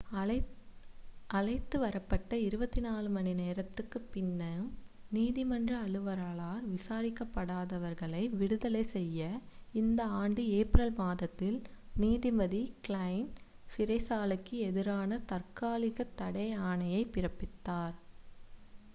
அழைத்து வரப்பட்டு 24 மணிநேரத்திற்குப் பின்னும் நீதிமன்ற அலுவலரால் விசாரிக்கப்படாதவர்களை விடுதலை செய்ய இந்த ஆண்டு ஏப்ரல் மாதத்தில் நீதிபதி க்லைன் சிறைச்சாலைக்கு எதிரான தாற்காலிக தடை ஆணையைப் பிறப்பித்தார்